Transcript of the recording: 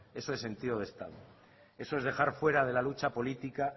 eso es sentido de estado eso es dejar fuera de la lucha política